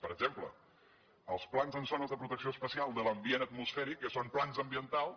per exemple els plans en zones de protecció especial de l’ambient atmosfèric que són plans ambientals